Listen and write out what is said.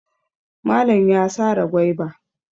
Malan ya sare gwaiba.